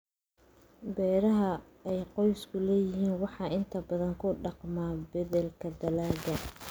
Beeraha ay qoysku leeyihiin waxay inta badan ku dhaqmaan beddelka dalagga.